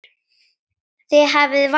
Þið hafið valdið.